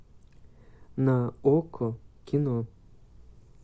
на окко кино